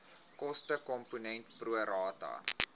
kostekomponent pro rata